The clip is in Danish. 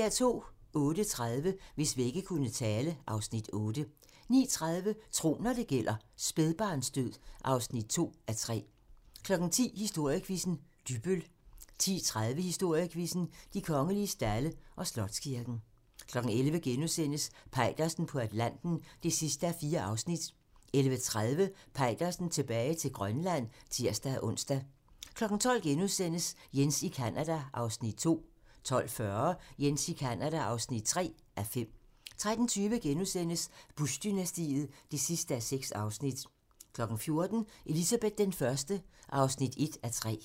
08:30: Hvis vægge kunne tale (Afs. 8) 09:30: Tro, når det gælder: Spædbarnsdød (2:3) 10:00: Historiequizzen: Dybbøl 10:30: Historiequizzen: De kongelige stalde og Slotskirken 11:00: Peitersen på Atlanten (4:4)* 11:30: Peitersen tilbage til Grønland (tir-ons) 12:00: Jens i Canada (2:5)* 12:40: Jens i Canada (3:5) 13:20: Bush-dynastiet (6:6)* 14:00: Elizabeth I (1:3)